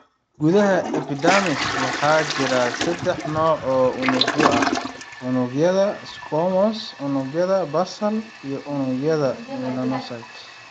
Gudaha epidermis, waxaa jira saddex nooc oo unugyo ah; unugyada squamous, unugyada basal, iyo melanocytes.